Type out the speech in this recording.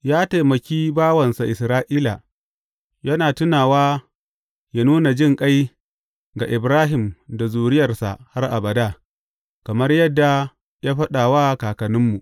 Ya taimaki bawansa Isra’ila, yana tunawa yă nuna jinƙai ga Ibrahim da zuriyarsa har abada, kamar yadda ya faɗa wa kakanninmu.